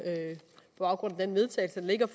baggrund